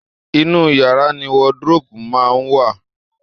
Inú yàrá ni wardrobe máa ń wà